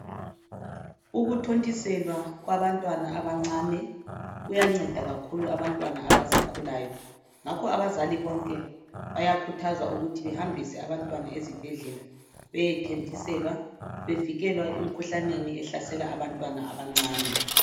Ukuthontiselwa kwabantwana abancane kuyanceda kakhulu abantwana abasakhulayo ngakho abazali bonke bayakhuthazwa ukuthi behambise abantwana ezibhedlela beyethontiselwa bevikekwe emkhuhlaneni ehlasela abantwana abancane.